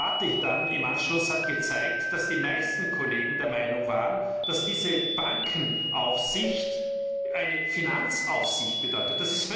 Die Debatte im Anschluss hat gezeigt, dass die meisten Kollegen der Meinung waren, dass diese Bankenaufsicht eine Finanzaufsicht bedeutet.